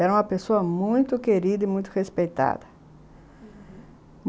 Era uma pessoa muito querida e muito respeitada, uhum.